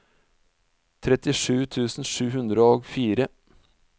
trettisju tusen sju hundre og fire